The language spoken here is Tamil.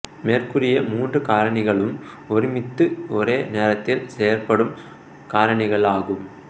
மேற்கூறிய மூன்று காரணிகளும் ஒருமித்து ஒரே நேரத்தில் செயற்படும் காரணிகளாகும்